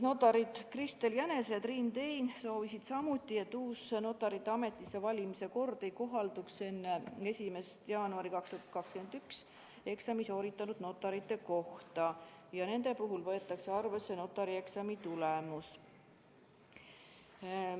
Notarid Kristel Jänese ja Triin Tein soovisid samuti, et uus notarite ametisse valimise kord ei kohalduks enne 1. jaanuari 2021 eksami sooritanud notaritele ja nende puhul võetakse arvesse notarieksami tulemus.